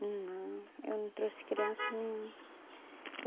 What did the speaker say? Não, eu não trouxe criança nenhuma.